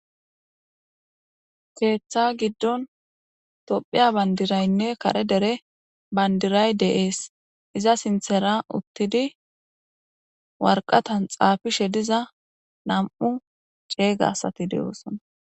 keeththa giddon tophiya bandiraynne kare dere bandiray deees iza sinthera uttidi warqatan xaafishe diza nam7u ceeyga asati de7osona